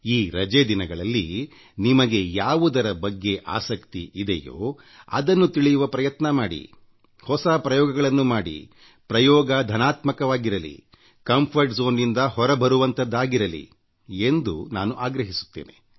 ಈ ರಜೆ ದಿನಗಳಲ್ಲಿ ನಿಮಗೆ ಯಾವುದರ ಬಗ್ಗೆ ಆಸಕ್ತಿ ಇದೆಯೋ ಅದನ್ನು ತಿಳಿಯುವ ಪ್ರಯತ್ನ ಮಾಡಿ ಹೊಸ ಪ್ರಯೋಗಗಳನ್ನು ಮಾಡಿಪ್ರಯೋಗ ಸಕಾರಾತ್ಮಕವಾಗಿರಲಿ ಕಂಫರ್ಟ್ zoneನಿಂದ ಹೊರ ಬರುವಂಥದ್ದಾಗಿರಲಿ ಎಂದು ನಾನು ಆಗ್ರಹಿಸುತ್ತೇನೆ